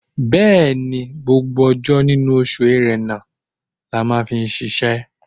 Bẹ́ẹ̀ni, gbogbo ọjọ́ nínú oṣù Ẹ̀rẹnà la máa fi ṣiṣẹ́.